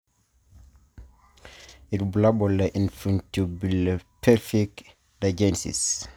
Ibulabul le infundibulopelvic dysgenesis.